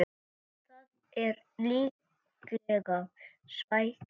Það er líklega svækjan